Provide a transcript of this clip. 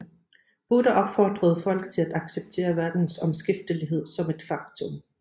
Buddha opfordrede folk til at acceptere verdens omskiftelighed som et faktum